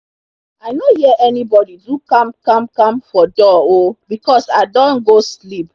i nor hear anybodi do kamkamkam for door oh becos i done go sleep